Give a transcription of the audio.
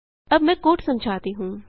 अब मैं कोड समझाती हूँ